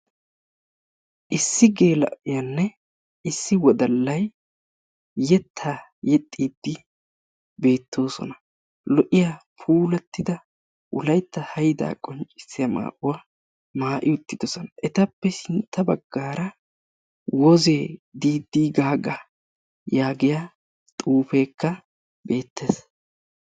issi geela'iyanne issi wodallay yetaa yexxiidi betoosona. lo'iya puulattida wolaytta haydaa qonccissiya maayuwa mayi uttiidosona. etappe sintta bagaara wozee diidi gaaga yaagiya xiifekka beetes.